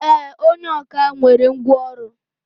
E, onye ọkà nwere ngwá ọrụ.